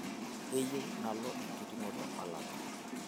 keyieu nalo enkiting'oto olapa